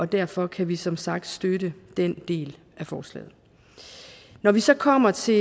derfor kan vi som sagt støtte den del af forslaget når vi så kommer til